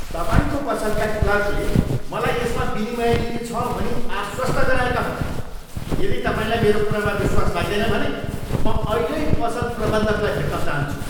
तपाईँको पसलका क्लर्कले मलाई यसमा विनिमय नीति छ भनी आश्वस्त गराएका हुन्। यदि तपाईँलाई मेरो कुरामा विश्वास लाग्दैन भने म अहिल्यै पसल प्रबन्धकलाई भेट्न चाहन्छु।